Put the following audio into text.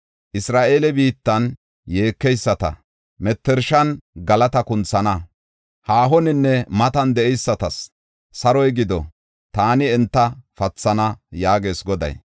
Isra7eele biittan yeekeyisata, mettershan galata kunthana. Haahoninne matan de7eysatas, saroy giddo; taani enta pathana” yaagees Goday.